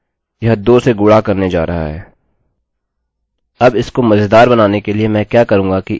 अब इसको मज़ेदार बनाने के लिए मैं क्या करूंगी कि इसे गुणजmultipleके रूप में बनाता हूँ